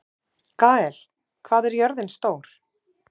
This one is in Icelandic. Gael, hvað er jörðin stór?